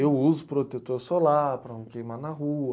Eu uso protetor solar para não queimar na rua.